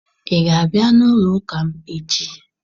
Ị ga-abịa n'ụlọụka m echi